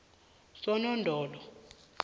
sonodolo